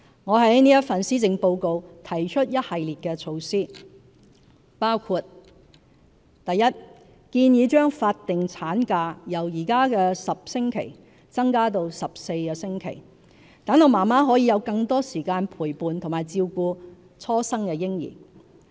我在本份施政報告提出一系列措施，包括： 1建議將法定產假由現時10星期增至14星期，讓媽媽可以有更多時間陪伴和照顧初生嬰兒。